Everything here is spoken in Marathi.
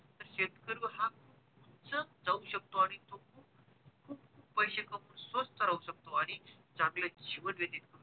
शेतकरी हा खूप उंच जाऊ शकतो आणि खूप खूप पैसे कमाऊ शकतो, स्वस्थ राहू शकतो आणि चांगलं जीवन व्यतीत